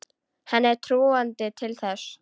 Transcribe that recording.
Henni er trúandi til þess.